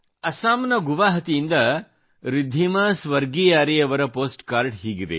ಅಸ್ಸಾಂನ ಗುವಾಹಾಟಿಯಿಂದ ರಿದ್ಧಿಮಾ ಸ್ವರ್ಗಿಯಾರಿ ಅವರ ಪೋಸ್ಟ್ ಕಾರ್ಡ ಹೀಗಿದೆ